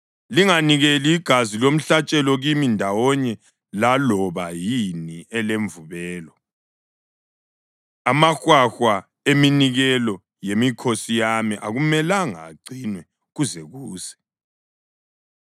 Linganikeli igazi lomhlatshelo kimi ndawonye laloba yini elemvubelo. Amahwahwa eminikelo yemikhosi yami akumelanga agcinwe kuze kuse.